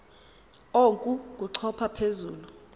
oku kochopha phezu